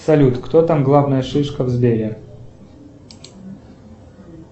салют кто там главная шишка в сбере